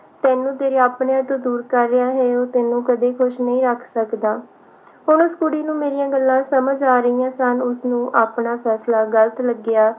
ਤੈਨੂੰ ਤੇਰੇ ਆਪਣਿਆਂ ਤੋਂ ਦੂਰ ਕਰ ਰਿਹਾ ਹੈ ਉਹ ਤੈਨੂੰ ਕਦੀ ਖੁਸ਼ ਨਹੀਂ ਰੱਖ ਸਕਦਾ ਹੁਣ ਉਸ ਕੁੜੀ ਨੂੰ ਮੇਰੀਆਂ ਗੱਲਾਂ ਸਮਝ ਆ ਰਹੀਆਂ ਸਨ ਉਸਨੂੰ ਆਪਣਾ ਫੈਸਲਾ ਗਲਤ ਲੱਗਿਆ